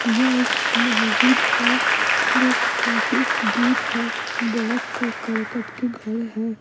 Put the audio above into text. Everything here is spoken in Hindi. यह एक मस्जिद हैजो काफी दूर है बहुत से करकट के घर है।